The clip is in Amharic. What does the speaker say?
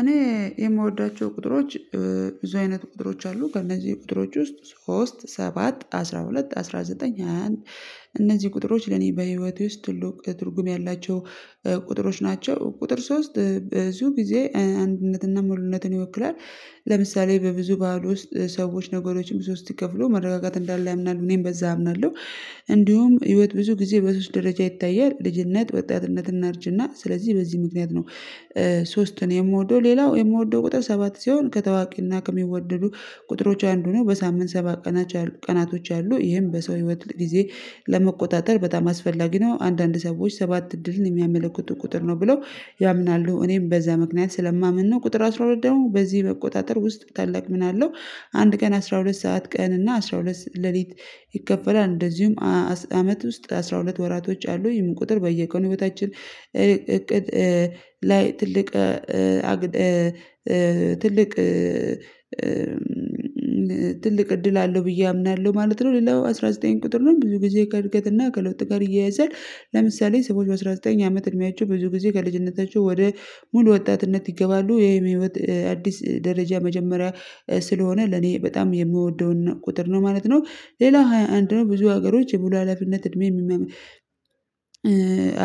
እኔ የምወዳቸው ቁጥሮች ብዙ አይነት ቁጥሮች አሉ ከእነዚህ ቁጥሮች ውስጥ ሶስት፣ ሰባት፣ አስራ ሁለት፣ አስራ ዘጠኝ፣ ሃያ አንድ እነዚህ ቁጥሮች ለኔ በህይወቴ ውስጥ ትልቅ ትርጉም ያላቸው ቁጥሮች ናቸው ቁጥር ሶስት በዚሁ ጊዜ አንድነትና ሙሉነትን ይወክላል ለምሳሌ በብዙ በዓል ውስጥ ሰዎች ነገሮችን በሶስት ከፍሎ መረጋጋት እንዳለ ያምናሉ እኔም በዛ አምናለሁ እንዲሁም ህይወት ብዙ ጊዜ በሶስት ደረጃ ይታያል ልጅነት፣ ወጣትነት አርጅና ስለዚህ በዚህ ምክንያት ነው ሶስትን የምወደው ሌላው የምወደው ቁጥር ሰባት ሲሆን ከታዋቂና ከሚወደዱ ቁጥሮች አንዱ ነው በሳምንት ሰባት ቀኖች ነው ያሉ፤ ቀናቶች አሉ ይሄን በሰው ህይወት ጊዜ ለመቆጣጠር በጣም አስፈላጊ ነው አንዳንድ ሰዎች ሰባት እድልን የሚያመለክቱ ቁጥር ነው ብለው ያምናሉ እኔም በዛ ምክንያት ስለማምን ነው ቁጥር አስራ ሁለት ደግሞ በዚህ መቆጣጠር ውስጥ ታላቅ ሚና አለው አንድ ቀን አስራ ሁለት ሰዓት ቀን እና አስራ ሁለት ሌሊት ይከፈላል እንደዚሁም አመት ውስጥ አስራ ሁለት ወራቶች አሉ ይህም ቁጥር በየቀኑ ህይወታችን እቅድ ላይ ትልቅ ትልቅ እድል አለው ብዬ አምናለሁ ማለት ነው ሌላው አስራ ዘጠኝ ቁጥር ነው ብዙ ጊዜ ከእድገትና ከለውጥ ጋር ይየያዛል ለምሳሌ ሰዎች አስራ ዘጠኝ አመት እድሜያቸው ብዙ ጊዜ ከልጅነታቸው ወደ ሙሉ ወጣትነት ይገባሉ የህይወት አዲስ ደረጃ መጀመሪያ ስለሆነ ለኔ በጣም የምወደውን ቁጥር ነው ማለት ነው ሌላ ሃያ አንድ ነው ብዙ ሀገሮች የብዙ ሀላፊነት እድሜ